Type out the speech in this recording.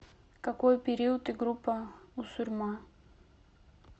какой период и группа у сурьма